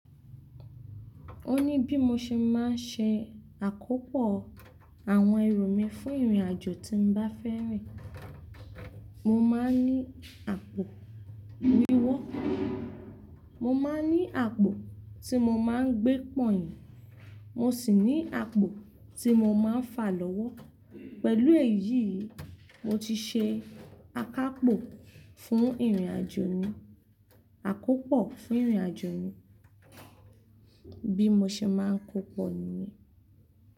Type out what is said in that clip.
Ó ní bí mo ṣe máa ń ṣe àkópọ̀ àwọn èru mi fún ìrìnàjò tí mo bá fẹ́ rìn. Mo máa ń ní àpò wíwọ̀, mo má ń ní àpò tí mo má ń gbé pọ̀yìn, mo sì ní àpò tí mo má ń fa lọ́wọ́. Pẹ̀lú èyí, mo ti ṣe àkápò fún ìrìnàjò mi, àkópọ̀ fún ìrìnàjò mi bí mo ṣe má ń kópa nìyẹn.